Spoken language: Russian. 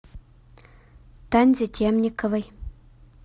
танзе темниковой